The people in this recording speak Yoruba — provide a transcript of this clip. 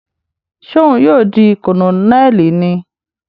Ṣe òun ní yóò di Kononeli níí?